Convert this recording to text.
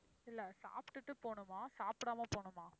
இல்ல சாப்டுட்டு போணுமா, சாப்பிடாம போணுமா?